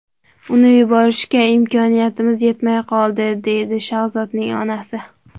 Uni yuborishga imkoniyatimiz yetmay qoldi”, deydi Shahzodning onasi.